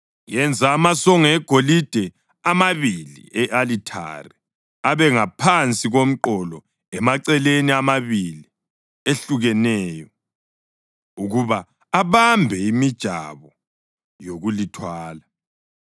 Yenza amasongo egolide amabili e-alithare abe ngaphansi komqolo emaceleni amabili ehlukeneyo ukuba abambe imijabo yokulithwala.